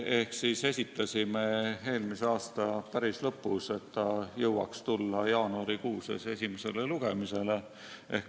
Esitasime selle päris eelmise aasta lõpus, et ta jõuaks tulla jaanuarikuus esimesele lugemisele.